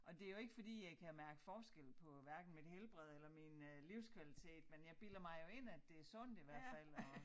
Og det jo ikke fordi jeg kan mærke forskel på hverken mit helbred eller min øh livskvalitet men jeg bilder mig jo ind at det sundt i hvert fald at